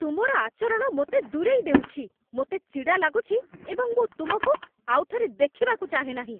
ତୁମର ଆଚରଣ ମୋତେ ଦୂରେଇ ଦେଉଛି। ମୋତେ ଚିଡ଼ା ଲାଗୁଛି, ଏବଂ ମୁଁ ତୁମକୁ ଆଉଥରେ ଦେଖିବାକୁ ଚାହେଁ ନାହିଁ!